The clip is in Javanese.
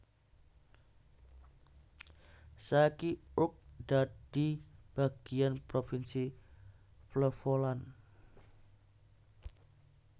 Saiki Urk dadi bagiyan provinsi Flevoland